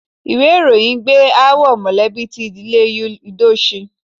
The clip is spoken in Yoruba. Ìwé ìròyìn gbé aáwọ̀ mọ̀lẹ́bí ti ìdílé Yul Edochie.